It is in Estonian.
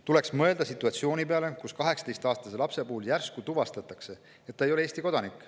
Tuleks mõelda situatsiooni peale, kus 18‑aastase lapse puhul järsku tuvastatakse, et ta ei ole Eesti kodanik.